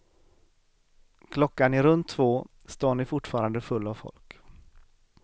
Klockan är runt två, stan är fortfarande full av folk.